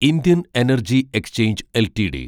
Indian energy exchange LTD